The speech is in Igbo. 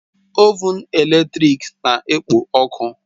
Ovụn eletrik na-ekpo ọkụ